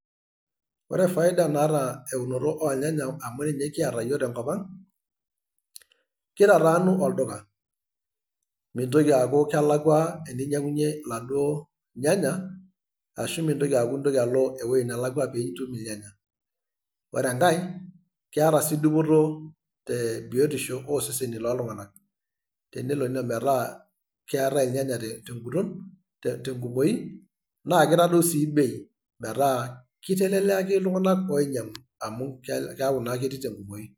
Ore faida naata eunoto ornyanya amu ore nye na kiata yiook tenkop ang',kitataanu olduka. Mintoki aku kelakwa eninyang'unye iladuo nyanya, ashu mintoki aku intoki alo ewueji nelakwa pe itum irnyanya. Ore enkae, keeta si dupoto te biotisho oseseni loltung'anak. Tenelo metaa keetae ilnyanya teguton tenkumoi, nakitadou si bei. Metaa kiteleliaki iltung'anak oinyang'u. Amu keeku naa ketii tenkumoyu.